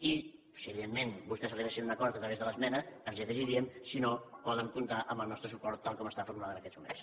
i si evidentment vostès arribessin a un acord a través de l’esmena ens hi afegiríem si no poden comptar amb el nostre suport tal com està formulada en aquests moments